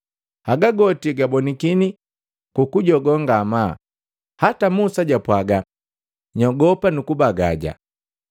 Haga goti gabonikini gu kujogoo ngamaa, hata Musa jwapwaga; “Nyogopa nu kubagaja.”